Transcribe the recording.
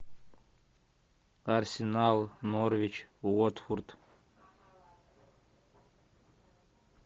арсенал норвич уотфорд